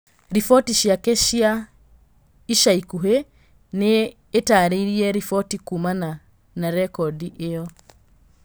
Riboti ciake cia ica ikuhĩ nĩitarĩirie riboti kumana na rekondi ĩyo